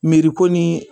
Miiri ko nii